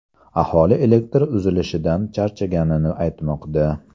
Aholi elektr uzilishlaridan charchaganini aytmoqda.